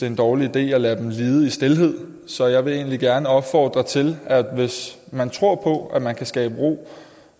en dårlig idé at lade dem lide i stilhed så jeg vil egentlig gerne opfordre til at det hvis man tror på at man kan skabe ro